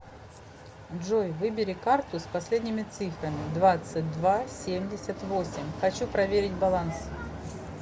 джой выбери карту с последними цифрами двадцать два семьдесят восемь хочу проверить баланс